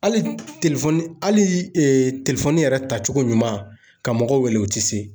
Hali hali yɛrɛ ta cogo ɲuman ka mɔgɔw wele u te se.